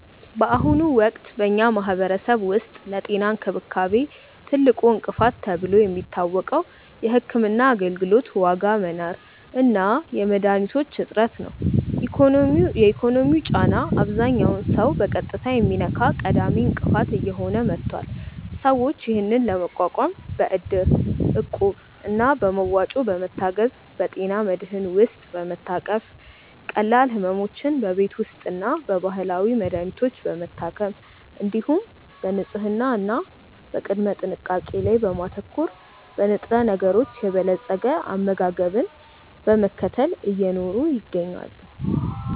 በአሁኑ ወቅት በኛ ማህበረሰብ ውስጥ ለጤና እንክብካቤ ትልቁ እንቅፋት ተብሎ የሚታወቀው የሕክምና አገልግሎት ዋጋ መናር እና የመድኃኒቶች እጥረት ነው። የኢኮኖሚው ጫና አብዛኛውን ሰው በቀጥታ የሚነካ ቀዳሚ እንቅፋት እየሆነ መጥቷል። ሰዎች ይህንን ለመቋቋም በእድር፣ እቁብ እና በመዋጮ በመታገዝ፣ በጤና መድህን ውስጥ በመታቀፍ፣ ቀላል ሕመሞችን በቤት ውስጥና በባህላዊ መድሀኒቶች በመታከም፣ እንዲሁም በንጽህና እና በቅድመ ጥንቃቄ ላይ በማተኮር፣ በንጥረነገሮች የበለፀገ አመጋገብን በመከተል እየኖሩ ይገኛሉ።